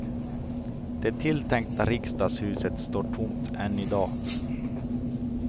Det tilltänkta riksdagshuset står tomt än i dag.